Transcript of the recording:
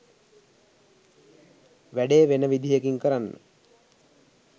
වැඩේ වෙන විදිහකින් කරන්න